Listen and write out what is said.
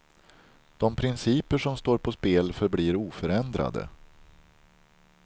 De principer som står på spel förblir oförändrade.